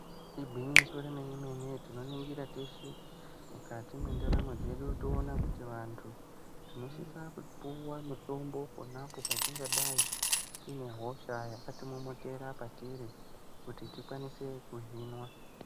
Igwinyiso remene mene tinoningira teshe mukati mwendaramo dzedu toona kuti vanthu tinosisa kupiwa mitombo pona apo patingadai tine hosha yakatimomotera patiri kuti tikwanise kuzvinwa.